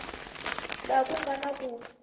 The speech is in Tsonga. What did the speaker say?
laha ku nga na ku